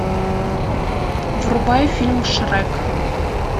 врубай фильм шрек